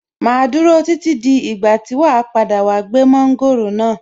Màá dúró títí dí ìgbà tí wàá padà wá gbé mọ́ńgòrò náà.